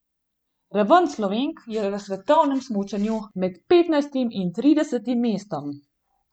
Raven Slovenk je v svetovnem smučanju med petnajstim in tridesetim mestom.